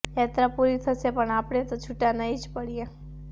યાત્રા પૂરી થશે પણ આપણે તો છૂટાં નહિ જ પડીએ